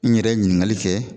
N yɛrɛ ye ɲininkali kɛ.